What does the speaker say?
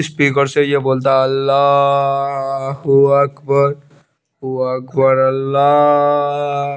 speaker से ये बोलता अल्ला हु अकबर हु अकबर अल्ल्ला--